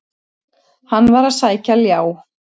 Hann var að sækja ljá.